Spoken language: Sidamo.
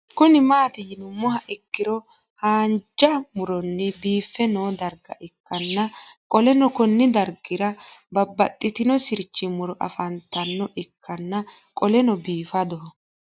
Kuni mati yinumoha ikiro hanj muroni bife noo darga ikana qoleno Kuni dargira babaxitino sirch muro afantano ikana qoleno bifadoho